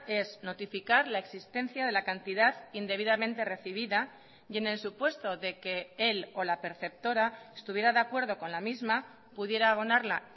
es notificar la existencia de la cantidad indebidamente recibida y en el supuesto de que el o la perceptora estuviera de acuerdo con la misma pudiera abonarla